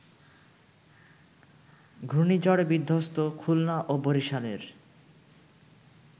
ঘূর্ণিঝড়-বিধ্বস্ত খুলনা ও বরিশালের